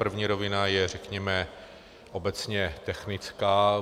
První rovina je řekněme obecně technická.